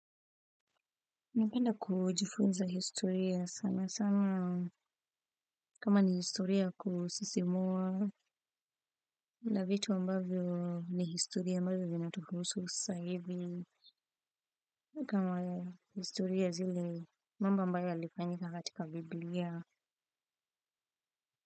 Napenda kujifunza historia sana sana kama ni historia ya kusisimua na vitu ambavyo ni historia ambavyo zinatuhusu sasa hivi nikama historia zile mambo ambayo yalifanyika hatika biblia.